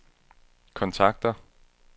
kontakter